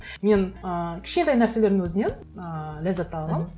мен ы кішкентай нәрселердің өзінен ыыы ләззат ала аламын